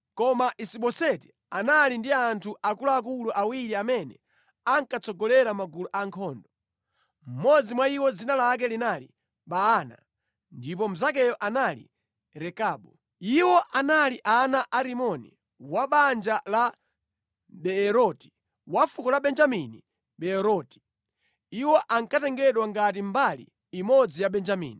Koma Isiboseti anali ndi anthu akuluakulu awiri amene ankatsogolera magulu a ankhondo. Mmodzi mwa iwo dzina lake linali Baana ndipo mnzakeyo anali Rekabu. Iwo anali ana a Rimoni wa banja la Beeroti wa fuko la Benjamini Beeroti. Iwo ankatengedwa ngati mbali imodzi ya Benjamini,